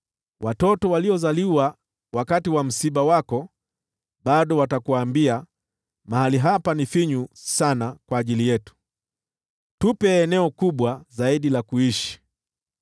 Watoto waliozaliwa wakati wa msiba wako bado watakuambia, ‘Mahali hapa ni finyu sana kwetu, tupe eneo kubwa zaidi la kuishi.’